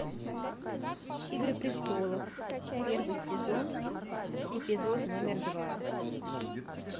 игры престолов первый сезон эпизод номер два